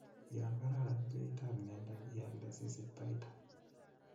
Yon kararan beitab ng'endek ialde sisich baita.